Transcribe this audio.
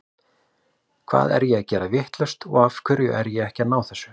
Hvað er ég að gera vitlaust og af hverju er ég ekki að ná þessu?